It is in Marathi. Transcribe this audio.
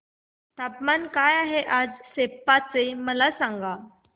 तापमान काय आहे आज सेप्पा चे मला सांगा